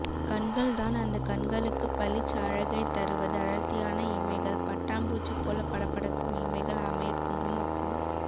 கண்கள்தான் அந்த கண்களுக்கு பளிச் அழகைத் தருவது அடர்த்தியான இமைகள் பட்டாம்பூச்சி போல படபடக்கும் இமைகள் அமைய குங்குமப்பூ